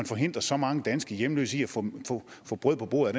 forhindrer så mange danske hjemløse i at få brød på bordet